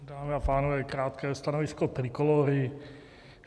Dámy a pánové, krátké stanovisko Trikolóry.